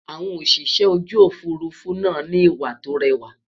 àwọn Òṣìṣẹ́ ojú òfurufú nà ni ìwà tó réwà